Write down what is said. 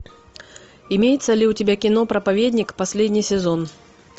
имеется ли у тебя кино проповедник последний сезон